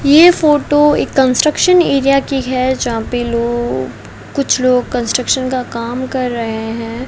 ये फोटो एक construction area की है जहां पे लोग कुछ लोग कंस्ट्रक्शन का काम कर रहे हैं।